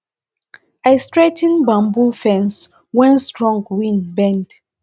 i straigh ten bamboo fences wey strong wind bend